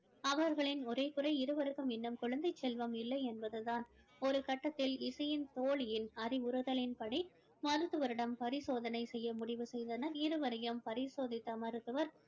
அவர்களின் ஒரே குறை இருவருக்கும் இன்னும் குழந்தை செல்வம் இல்லை என்பது தான் ஒரு கட்டத்தில் இசையின் தோழியின் அறிவுறுத்தலின் படி மருத்துவரிடம் பரிசோதனை செய்ய முடிவு செய்தனர் இருவரையும் பரிசோதித்த மருத்துவர்